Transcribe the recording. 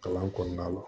Kalan kɔnɔna la